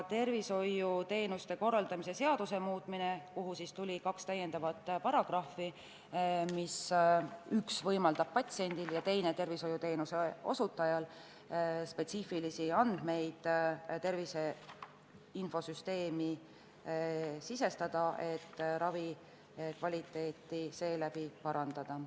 Tervishoiuteenuste korraldamise seadusesse tuli kaks uut paragrahvi, millest üks võimaldab patsiendil ja teine tervishoiuteenuse osutajal tervise infosüsteemi spetsiifilisi andmeid sisestada, et ravi kvaliteeti seeläbi parandada.